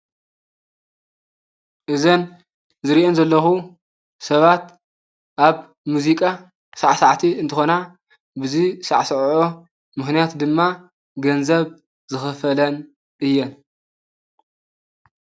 እዘን ዝርእየን ዘለኹ ሰባት ኣብ ሙዚቃ ሳዕሳዕቲ እንትኾና ብዙይ ዝሳዕሰዐዖ ምኽንያት ድማ ገንዘብ ዝኽፈለን እየን።